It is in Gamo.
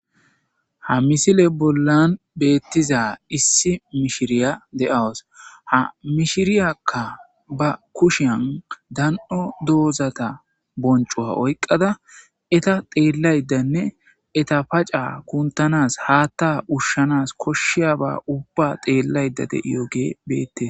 ha misile bollan beettiza issi mishiriya de7awas ha mishiriyakka ba kushiyan dan7o doozata boncowa oyqqada eta xeellaydanne eta paca kuntanas haatta ushshanas koshshiaba ubba xeellayda deiyogee beette